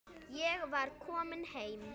Ég var komin heim.